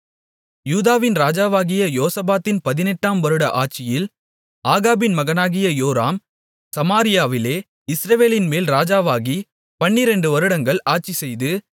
யூதாவின் ராஜாவாகிய யோசபாத்தின் பதினெட்டாம் வருட ஆட்சியில் ஆகாபின் மகனாகிய யோராம் சமாரியாவிலே இஸ்ரவேலின்மேல் ராஜாவாகிப் பன்னிரெண்டு வருடங்கள் ஆட்சிசெய்து